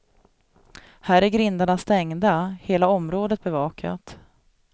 Här är grindarna stängda, hela området bevakat.